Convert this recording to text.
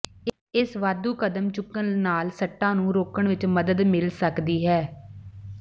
ਇਸ ਵਾਧੂ ਕਦਮ ਚੁੱਕਣ ਨਾਲ ਸੱਟਾਂ ਨੂੰ ਰੋਕਣ ਵਿਚ ਮਦਦ ਮਿਲ ਸਕਦੀ ਹੈ